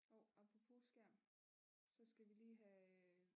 Hov apropos skærm så skal vi lige have øh